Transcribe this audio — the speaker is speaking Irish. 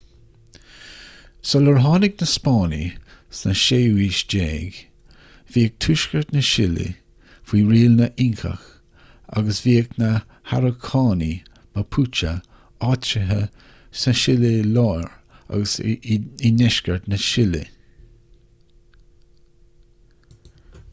sular tháinig na spáinnigh sa 16ú haois bhíodh tuaisceart na sile faoi riail na nincach agus bhíodh na harócánaigh mapuche áitrithe sa tsile láir agus i ndeisceart na sile